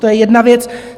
To je jedna věc.